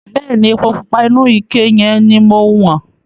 Bẹ̀ẹ́ni, epo pupa inú ike yẹn ni mo wọ̀n.